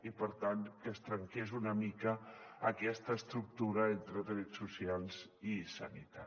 i per tant que es trenqués una mica aquesta estructura entre drets socials i sanitat